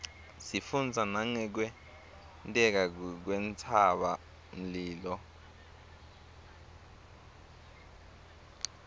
sifundza nangekwenteka kwentsaba mlilo